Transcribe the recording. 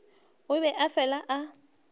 o be a fela a